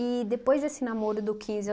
depois desse namoro do quinze